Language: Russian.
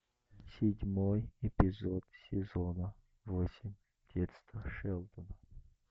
седьмой эпизод сезона восемь детство шелдона